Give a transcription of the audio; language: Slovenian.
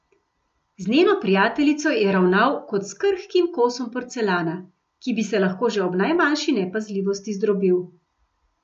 Z njeno prijateljico je ravnal kot s krhkim kosom porcelana, ki bi se lahko že ob najmanjši nepazljivosti zdrobil.